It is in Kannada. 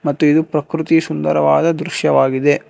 ಮತ್ತೆ ಇದು ಪ್ರಕೃತಿ ಸುಂದರವಾದ ದೃಶ್ಯವಾಗಿದೆ.